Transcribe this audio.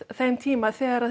þeim tíma þegar